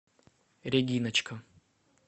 региночка